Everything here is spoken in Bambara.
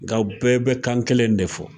Nga u bɛɛ be kan kelen de fɔ.